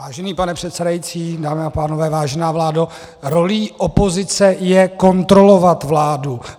Vážený pane předsedající, dámy a pánové, vážená vládo, rolí opozice je kontrolovat vládu.